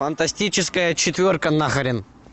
фантастическая четверка нахрен